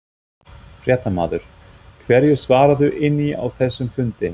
Fréttamaður: Hverju svararðu inni á þessum fundi?